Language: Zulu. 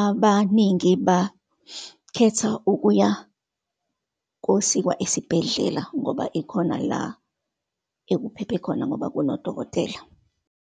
Abaningi bakhetha ukuya kosikwa esibhedlela, ngoba ikhona la ekuphephe khona, ngoba kunodokotela.